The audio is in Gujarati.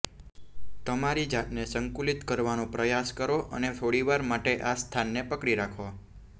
તમારી જાતને સંતુલિત કરવાનો પ્રયાસ કરો અને થોડીવાર માટે આ સ્થાનને પકડી રાખો